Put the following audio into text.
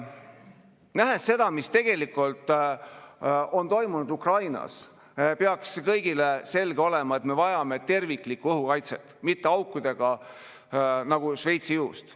Nähes seda, mis on toimunud Ukrainas, peaks kõigile selge olema, et me vajame terviklikku õhukaitset, mitte aukudega nagu Šveitsi juust.